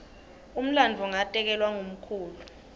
umlandvo ngatekelwa ngumkhulu